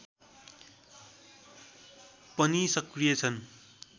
पनि सक्रिय छन्